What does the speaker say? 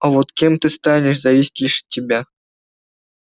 а вот кем ты станешь зависит лишь от тебя